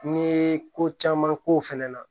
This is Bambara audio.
N'i ye ko caman k'o fɛnɛ na